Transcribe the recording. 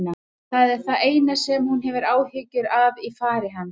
Það er það eina sem hún hefur áhyggjur af í fari hans.